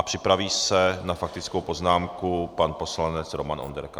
A připraví se na faktickou poznámku pan poslanec Roman Onderka.